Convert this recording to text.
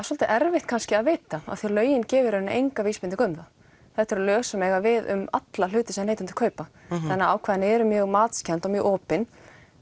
svolítið erfitt kannski að vita af því lögin gefa þeim enga vísbendingu um það þetta eru lög sem eiga við um alla hluti sem neytendur kaupa þannig ákvæðin eru mjög matskennd og mjög opin